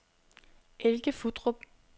Elke Futtrup